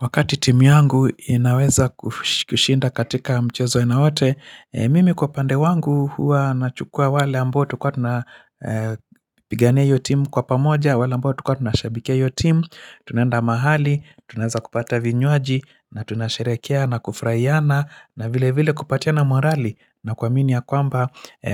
Wakati timu yangu inaweza kushinda katika mchezo aina wote, mimi kwa upande wangu hua nachukua wale ambao kuwa tunapigane hiyo timu kwa pamoja, wale ambao kwa tunashabike hiyo timu, tunenda mahali, tunaza kupata vinywaji, na tunasherekea na kufurahiana, na vile vile kupatia na morali na kuaminia ya kwamba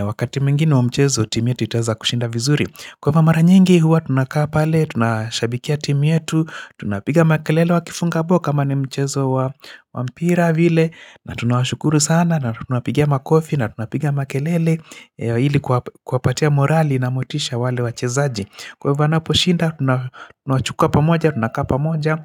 wakati mingine wa mchezo timu yetu itaweza kushinda vizuri. Kwa mamaranyingi huwa tunakaa pale, tunashabikia timu yetu, tunapiga makelele wa kifunga bao kama ni mchezo wa mpira vile na tunashukuru sana na tunapigia makofi na tunapiga makelele ili kuapatea morali na motisha wale wachezaji. Kwa hivyo anaposhinda, tunachukua pamoja, tunakaa pamoja,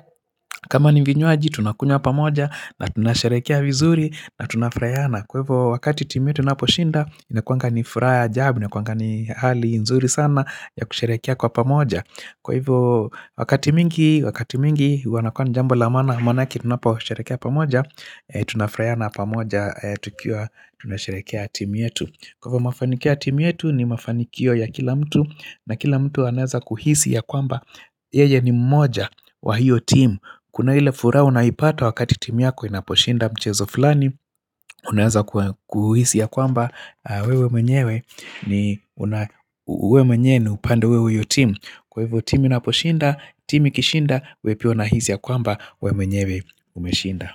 kama ni vinywaji tunakunywa pamoja na tunasherehekea vizuri na tunafurahiana. Kwa hivo wakati timi tunaposhinda, inkuangani furaha ya jab, inekuanga ni hali nzuri sana ya kusharekia kwa pamoja. Kwa hivyo wakati mingi, wakati mingi, wanakuan jambo lamaana, maanake tunaposharekia pamoja, tunafuraiana pamoja tukiwa tunasharekia timi yetu. Kwa mafanikio timu yetu ni mafanikio ya kila mtu na kila mtu aneaza kuhisi ya kwamba Yeye ni mmoja wa hiyo timu Kuna hile fura unaipata wakati timu yako inaposhinda mchezo fulani Unaeza kuhisi ya kwamba wewe mwenyewe ni wewe mwenye ni upande wewe huyo timu Kwa hivyo timu inaposhinda, timu kishinda, wewe pia unahisi ya kwamba wewe mwenyewe umeshinda.